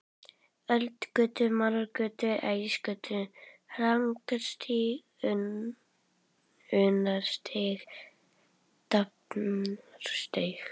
Öldugötu, Marargötu, Ægisgötu, Hrannarstíg, Unnarstíg, Drafnarstíg.